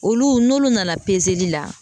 Olu n'olu nana la